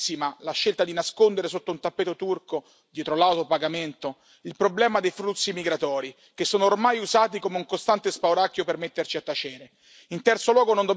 Stiamo pagando carissima la scelta di nascondere sotto un tappeto turco, dietro lauto pagamento, il problema dei flussi migratori che sono ormai usati come un costante spauracchio per metterci a tacere.